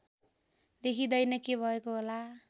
देखिँदैन के भएको होला